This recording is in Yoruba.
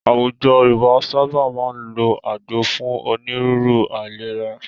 Àwùjọ Yorùbá sábà máa ń lọ agbo fún onírúurú aìlèrà.